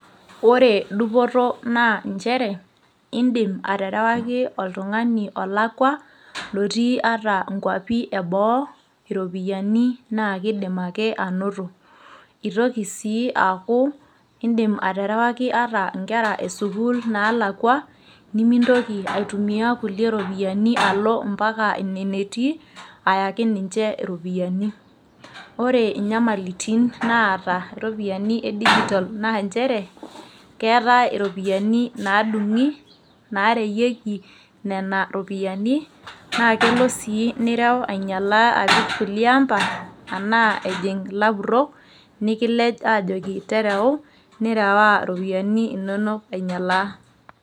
ore dupoto naa nchere, idim aterawaki oltungani olakua otii ata nkwapi eboo iropiyiani, naa kidim anoto. itoki sii aaku idim aterewaki inkera esukuul ata inaalakua, nimintoki aitumia kulie ropiyiani alo mpaka ine netii, ayaki ninche iropiyiani. ore nyamalitin naata iropiyiani e digital naa nchere keetae iropiyiani, naadung'i naareyieki nena ropiyiani, naa kelo sii nireu aing'ialaa apik kulie ampa. anaa ejing ilapurok nikilej aajoki tereu, nireu iropiyiani inonok aing'ialaa.